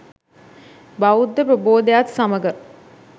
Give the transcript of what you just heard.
බෞද්ධ ප්‍රබෝධයත් සමඟ